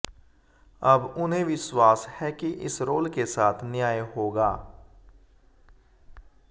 अब उन्हें विश्वास है कि इस रोल के साथ न्याय होगा